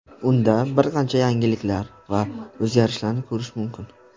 Unda bir qancha yangiliklar va o‘zgarishlarni ko‘rish mumkin.